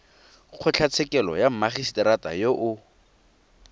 kgotlatshekelo ya mmagisetera yo o